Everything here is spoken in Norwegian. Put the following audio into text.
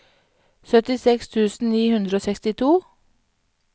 syttiseks tusen ni hundre og sekstito